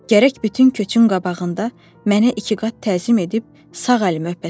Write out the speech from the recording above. Gərək bütün köçün qabağında mənə ikiqat təzim edib sağ əlimi öpəsən.